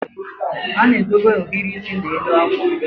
a na-edobe ohiri isi n'elu akwa